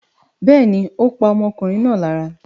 Bẹ́ẹ̀ ni, ó pa ọmọkùnrin náà lára.